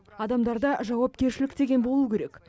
адамдарда жауапкершілік деген болу керек